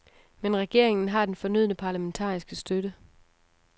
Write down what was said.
Men regeringen har den fornødne parlamentariske støtte.